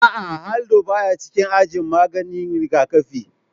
A'a, Haldol baya cikin ajin maganin rigakafi